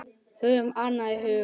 Höfum annað í huga.